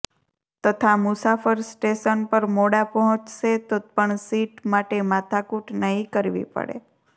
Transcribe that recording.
તથા મુસાફર સ્ટેશન પર મોડા પહોચશે તો પણ સીટ માટે માથા કૂટ નહી કરવી પડે